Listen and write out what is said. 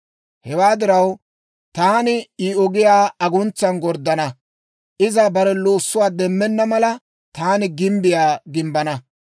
«Hewaa diraw, taani I ogiyaa aguntsan gorddana; iza bare loossuwaa demmenna mala, taani gimbbiyaa gimbbana.